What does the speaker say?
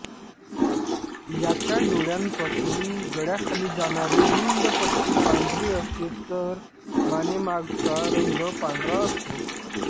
याच्या डोळ्यांपासून गळ्याखाली जाणारी रुंद पट्टी पांढरी असते तर मानेमागचा रंग पांढरा असतो